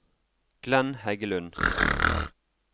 Glenn Heggelund